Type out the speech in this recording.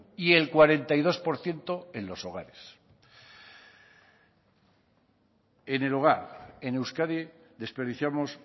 y el cuarenta y dos por ciento en los hogares en el hogar en euskadi desperdiciamos